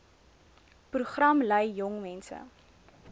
program lei jongmense